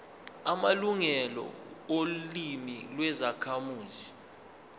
amalungelo olimi lwezakhamuzi